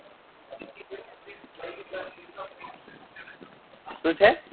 શું છે